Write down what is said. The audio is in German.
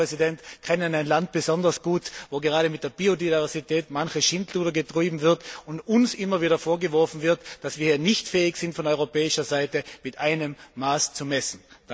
Gerade Sie, Herr Präsident, kennen ein Land besonders gut, wo gerade mit der Biodiversität manches Schindluder getrieben wird und uns immer wieder vorgeworfen wird, dass wir nicht fähig sind, von europäischer Seite mit einem Maß zu messen.